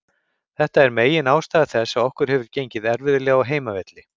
Þetta er megin ástæða þess að okkur hefur gengið erfiðlega á heimavelli.